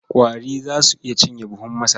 Ƙwari za su iya cinye buhun masara.